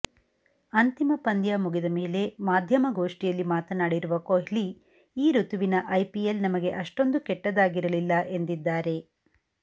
ಅಂತಿಮ ಪಂದ್ಯ ಮುಗಿದ ಮೇಲೆ ಮಾಧ್ಯಮಗೋಷ್ಠಿಯಲ್ಲಿ ಮಾತನಾಡಿರುವ ಕೊಹ್ಲಿ ಈ ಋತುವಿನ ಐಪಿಎಲ್ ನಮಗೆ ಅಷ್ಟೊಂದು ಕೆಟ್ಟದಾಗಿರಲಿಲ್ಲ ಎಂದಿದ್ದಾರೆ